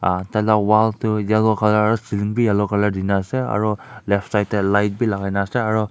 ah taila wall tu yellow colour ceiling bi yellow colour dina ase aru left side teh light bi lagaina ase aru.